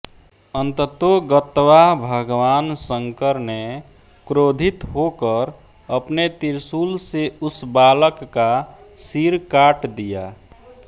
अन्ततोगत्वा भगवान शंकर ने क्रोधित होकर अपने त्रिशूल से उस बालक का सिर काट दिया